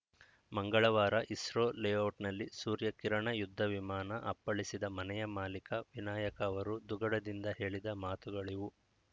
ಮಂಗಳವಾರ ಇಸ್ರೋ ಲೇಔಟ್‌ನಲ್ಲಿ ಸೂರ್ಯ ಕಿರಣ ಯುದ್ಧ ವಿಮಾನ ಅಪ್ಪಳಿಸಿದ ಮನೆಯ ಮಾಲಿಕ ವಿನಾಯಕ ಅವರು ದುಗುಡದಿಂದ ಹೇಳಿದ ಮಾತುಗಳಿವು